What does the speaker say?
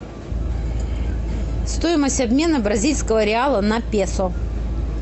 стоимость обмена бразильского реала на песо